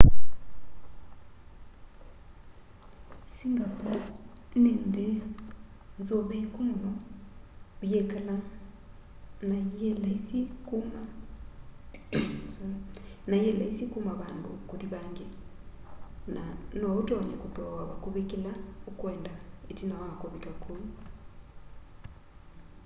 singapore ni nthi nzuviiku muno uyikala na yi laisi kuma vandu kuthi vangi na noutonye kuthooa vakuvi kila ukwenda itina wa uvika kuu